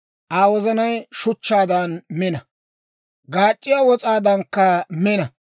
Aa wozanay shuchchaadan mina; gaac'c'iyaa wos'aadankka mina.